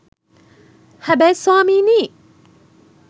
හැබැයි ස්වාමීනී